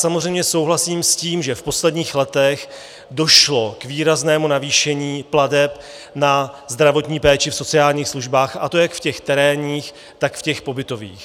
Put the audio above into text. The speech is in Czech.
Samozřejmě souhlasím s tím, že v posledních letech došlo k výraznému navýšení plateb na zdravotní péči v sociálních službách, a to jak v těch terénních, tak v těch pobytových.